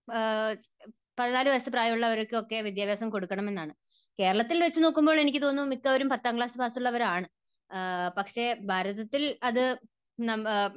14 വയസ്സ് പ്രായമുള്ളവർക്കൊക്കെ വിദ്യാഭ്യാസ കൊടുക്കണമെന്നാണ്. കേരളത്തിൽ വെച്ച് നോക്കുമ്പോൾ എനിക്ക് തോന്നുന്നു മിക്കവരും പത്താം ക്ലാസ് പാസ് ഉള്ളവരാണ്. പക്ഷേ ഭാരതത്തിൽ അത് നമ്മ,